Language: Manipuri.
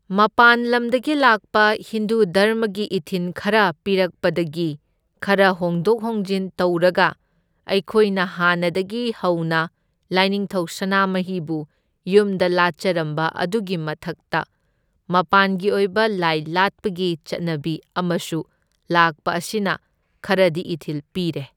ꯃꯄꯥꯟꯂꯝꯗꯒꯤ ꯂꯥꯛꯄ ꯍꯤꯟꯗꯨ ꯙꯔꯃꯒꯤ ꯏꯊꯤꯟ ꯈꯔ ꯄꯤꯔꯛꯄꯗꯒꯤ ꯈꯔ ꯍꯣꯡꯗꯣꯛ ꯍꯣꯡꯖꯤꯟ ꯇꯧꯔꯒ ꯑꯩꯈꯣꯏꯅ ꯍꯥꯟꯅꯗꯒꯤ ꯍꯧꯅ ꯂꯥꯢꯅꯤꯡꯊꯧ ꯁꯅꯥꯃꯍꯤꯕꯨ ꯌꯨꯝꯗ ꯂꯥꯠꯆꯔꯝꯕ ꯑꯗꯨꯒꯤ ꯃꯊꯛꯇ ꯃꯄꯥꯟꯒꯤ ꯑꯣꯏꯕ ꯂꯥꯏ ꯂꯥꯠꯄꯒꯤ ꯆꯠꯅꯕꯤ ꯑꯃꯁꯨ ꯂꯥꯛꯄ ꯑꯁꯤꯅ ꯈꯔꯗꯤ ꯏꯊꯤꯜ ꯄꯤꯔꯦ꯫